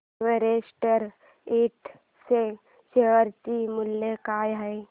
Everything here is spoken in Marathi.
एव्हरेस्ट इंड च्या शेअर चे मूल्य काय आहे